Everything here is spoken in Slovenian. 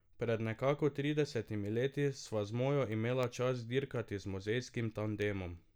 Pred nekako tridesetimi leti sva z mojo imela čast dirkati z muzejskim tandemom.